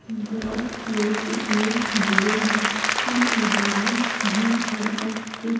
बहुत लोग इसमें जुड़े हैं कुछ महिलाएं भी हैं और कु --